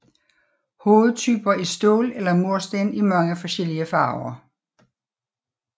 Hovedtyper er stål eller mursten i mange forskellige farver